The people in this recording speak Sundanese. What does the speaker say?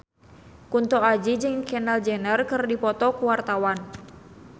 Kunto Aji jeung Kendall Jenner keur dipoto ku wartawan